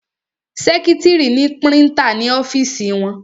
Sẹ́kítrì ni prítà ní ọ́fìsì wọn.